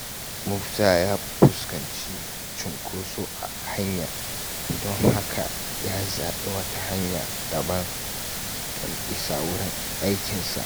Musa ya fuskanci cunkoso a hanya, don haka ya zabi wata hanya daban don isa wurin aikinsa a kan lokaci.